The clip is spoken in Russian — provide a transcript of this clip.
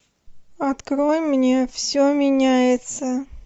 открой мне все меняется